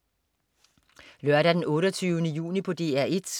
Lørdag den 28. juni - DR 1: